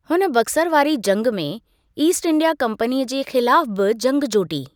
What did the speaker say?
हुन बक्सर वारी जंगि में ईस्ट इंडिया कंपनीअ जे ख़िलाफ़ु बि जंगि जोटी।